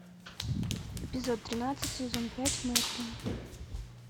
эпизод тринадцать сезон пять мерлин